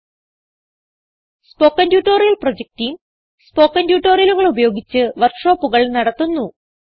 spoken tutorial project team spoken ട്യൂട്ടോറിയലുകൾ ഉപയോഗിച്ച് വർക്ക് ഷോപ്പുകൾ നടത്തുന്നു